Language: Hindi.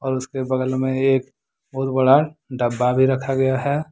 और उसके बगल में एक बहुत बड़ा डब्बा भी रखा गया है।